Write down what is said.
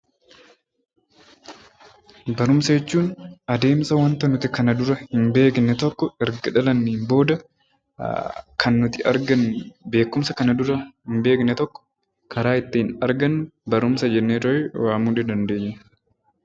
Barumsa jechuun adeemsa wanta nuti kana dura hin beekne tokko erga itti dhalannee booda kan nuti argannu beekumsa kanaan dura hin beekne tokko karaa ittiin argannu barumsa jennee waamuu dandeenya.